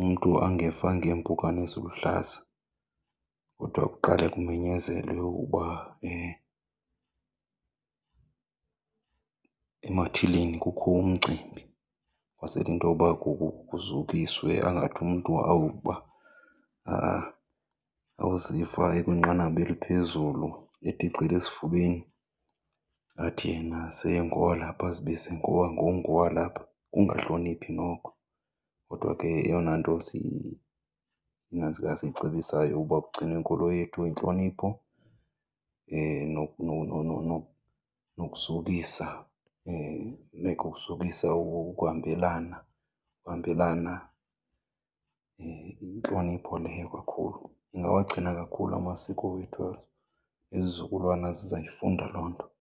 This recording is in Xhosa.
umntu angeva ngeempukane eziluhlaza kodwa kuqale kumenyezelwe ukuba emathileni kukho umcimbi kwazele intoba kuzukiswe. Angathi umntu awuba awuziva ekwinqanaba eliphezulu eticela esifubeni athi yena sengowalapha, azibize ngoba ngongowalapha. Kukungahloniphi noko. Kodwa ke yeyona nto siyinantsika siyicebisayo uba kugcinwe inkolo yethu eyintlonipho nokuzukisa . Ibe kukuzukisa okuhambelana, okuhambelana, yintlonipho leyo kakhulu ingawagcina kakhulu amasiko wethu ezo. Izizukulwana zizayifunda loo nto.